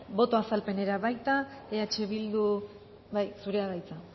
boto azalpenera baita eh bildu bai zurea da hitza